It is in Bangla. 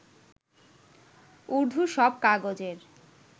উর্দু সব কাগজের